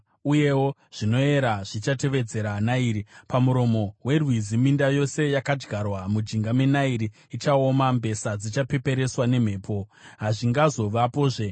uyewo zvinomera zvichitevedza Nairi, pamuromo werwizi. Minda yose yakadyarwa mujinga meNairi ichaoma, mbesa dzichapeperetswa nemhepo, hazvingazovapozve.